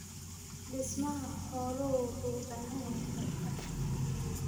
Dhismaha xooluhu wuxuu u baahan yahay qorshe.